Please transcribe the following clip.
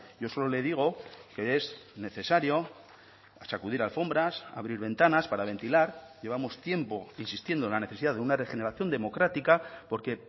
yo solo le digo que es necesario sacudir alfombras abrir ventanas para ventilar llevamos tiempo insistiendo en la necesidad de una regeneración democrática porque